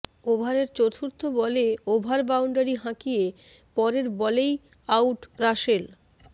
ওভারের চতুর্থ বলে ওভার বাউন্ডারি হাঁকিয়ে পরের বলেই আউট রাসেল